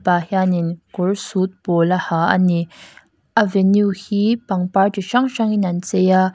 pa hian in kawr suit pawl a ha ani a venue hi pangpar chi hrang hrangin an chei a.